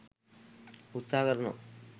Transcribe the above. උත්සහ කරනවා.